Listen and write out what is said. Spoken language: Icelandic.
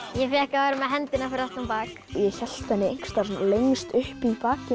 ég fékk að vera með hendina fyrir aftan bak ég hélt henni einhvers staðar lengst uppi í bakinu